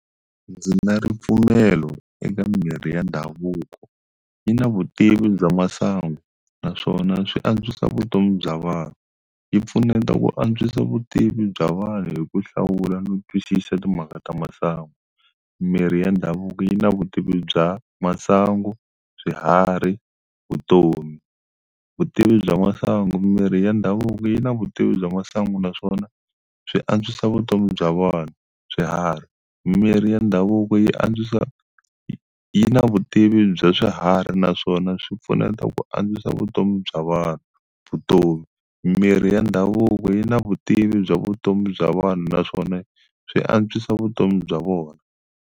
Ndzi na ripfumelo eka mirhi ya ndhavuko yi na vutivi bya masangu naswona swi antswisa vutomi bya vanhu, yi mpfuneta ku antswisa vutivi bya vanhu hi ku hlawula no twisisa timhaka ta masangu, mirhi ya ndhavuko yi na vutivi bya masangu, swiharhi, vutomi. Vutivi bya masangu, mirhi ya ndhavuko yi na vutivi bya masangu naswona swi antswisa vutomi bya vanhu. Swiharhi, mirhi ya ndhavuko yi antswisa yi na vutivi bya swiharhi naswona swi pfuneta ku antswisa vutomi bya vanhu. Vutomi, mirhi ya ndhavuko yi na vutivi bya vutomi bya vanhu naswona swi antswisa vutomi bya vona.